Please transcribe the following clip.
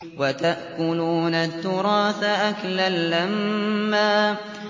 وَتَأْكُلُونَ التُّرَاثَ أَكْلًا لَّمًّا